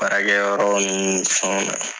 Baarakɛyɔrɔ ni fɛnw na .